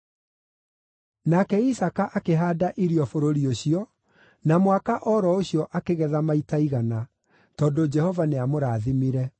Nake Isaaka akĩhaanda irio bũrũri ũcio, na mwaka o ro ũcio akĩgetha maita igana, tondũ Jehova nĩamũrathimire.